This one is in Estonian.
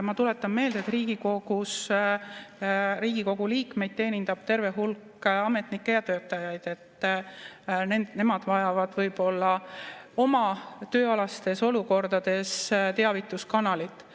Ma tuletan meelde, et Riigikogu liikmeid teenindab terve hulk ametnikke ja töötajaid, nemad vajavad võib-olla oma tööalastes olukordades teavituskanalit.